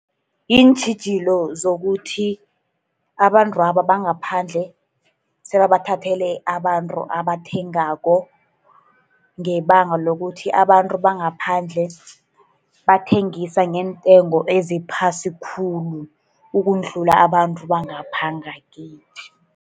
Iintjhijilo zokuthi abantwabo bangaphandle sebabathathele abantu abathengako ngebanga lokuthi abantu bangaphandle bathengisa ngeentengo eziphasi khulu, ukudlula abantu bangapha ngakithi.